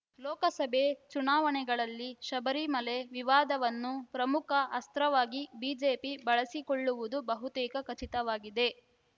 ಲೋಕಸಭೆ ಚುನಾವಣೆಗಳಲ್ಲಿ ಶಬರಿಮಲೆ ವಿವಾದವನ್ನು ಪ್ರಮುಖ ಅಸ್ತ್ರವಾಗಿ ಬಿಜೆಪಿ ಬಳಸಿಕೊಳ್ಳುವುದು ಬಹುತೇಕ ಖಚಿತವಾಗಿದೆ